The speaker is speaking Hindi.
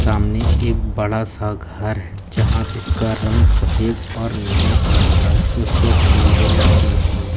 सामने एक बड़ा-सा घर है जहां जिसका रंग सफेद और नीले कलर का है और उसे पर फूल भी लटके हुए हैं।